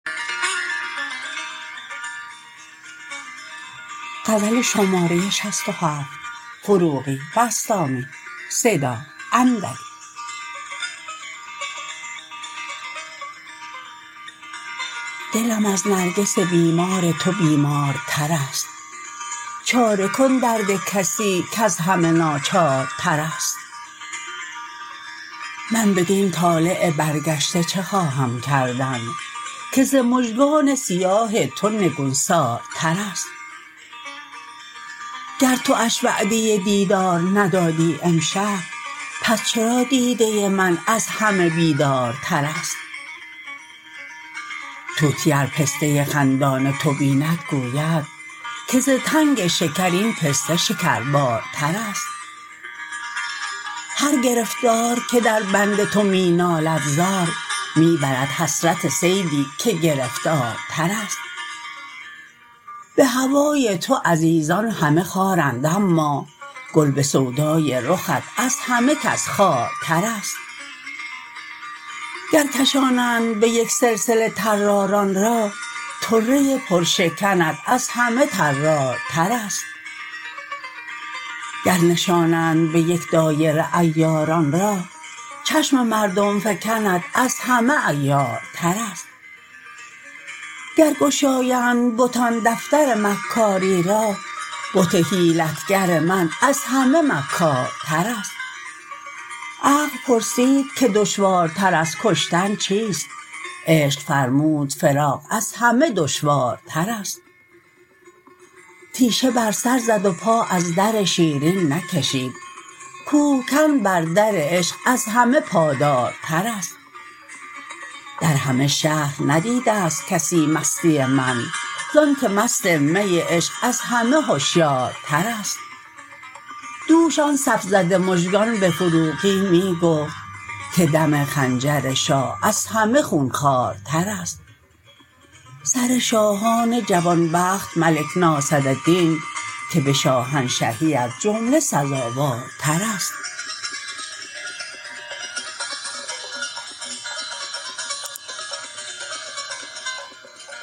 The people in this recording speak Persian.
دلم از نرگس بیمار تو بیمارتر است چاره کن درد کسی کز همه ناچارتر است من بدین طالع برگشته چه خواهم کردن که ز مژگان سیاه تو نگونسارتر است گر تو اش وعده دیدار ندادی امشب پس چرا دیده من از همه بیدارتر است طوطی ار پسته خندان تو بیند گوید که ز تنگ شکر این پسته شکربارتر است هر گرفتار که در بند تو می نالد زار می برد حسرت صیدی که گرفتارتر است به هوای تو عزیزان همه خارند اما گل به سودای رخت از همه کس خوارتر است گر کشانند به یک سلسله طراران را طره پرشکنت از همه طرارتر است گر نشانند به یک دایره عیاران را چشم مردم فکنت از همه عیارتر است گر گشایند بتان دفتر مکاری را بت حیلت گر من از همه مکارتر است عقل پرسید که دشوارتر از کشتن چیست عشق فرمود فراق از همه دشوارتر است تیشه بر سر زد و پا از در شیرین نکشید کوه کن بر در عشق از همه پادارتر است در همه شهر ندیده ست کسی مستی من زان که مست می عشق از همه هشیارتر است دوش آن صف زده مژگان به فروغی می گفت که دم خنجر شاه از همه خون خوارتر است سر شاهان جوان بخت ملک ناصردین که به شاهنشهی از جمله سزاوارتر است